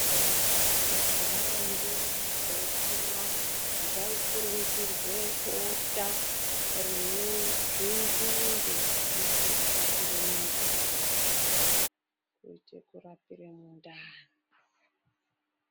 Kudhaya ndumure dzeikura dzaikurungirwe bota rine zvinzinde kuitire kurapire mundani, kuite kurapire mundani.